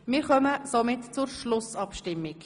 Wir kommen demnach zur Schlussabstimmung.